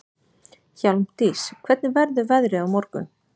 Hjálmdís, hvernig verður veðrið á morgun?